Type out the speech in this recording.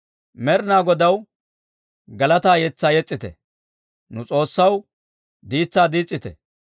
Med'inaa Godaw galataa yetsaa yes's'ite; nu S'oossaw diitsaa diis's'ite.